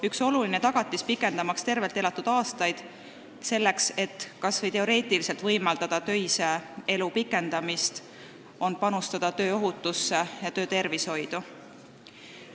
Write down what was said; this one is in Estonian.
Üks oluline tagatis rohkendamaks tervelt elatud aastaid, selleks et kas või teoreetiliselt võimaldada töise elu pikendamist, on panustada tööohutusse ja töötervishoidu.